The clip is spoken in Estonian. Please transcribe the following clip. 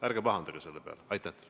Ärge pahandage selle peale!